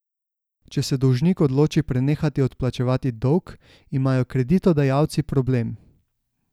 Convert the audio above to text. Če se dolžnik odloči prenehati odplačevati dolg, imajo kreditodajalci problem.